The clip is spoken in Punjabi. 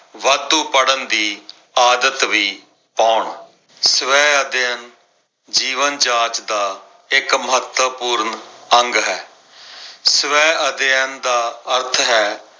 ਵਾਧੂ ਪੜਨ ਦੀ ਆਦਤ ਵੀ ਪਾਉਣ। ਸਵੈ ਅਧਿਐਨ ਜੀਵਨ ਜਾਚ ਦਾ ਇੱਕ ਮਹੱਤਵਪੂਰਨ ਅੰਗ ਹੈ। ਸਵੈ ਅਧਿਐਨ ਦਾ ਅਰਥ ਹੈ